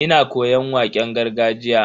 Ina koyon waƙen gargajiya.